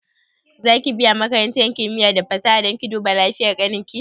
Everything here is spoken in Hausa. Za ki biya makarantar kimiya da fasaha don ki duba lafiyan ƙanin ki?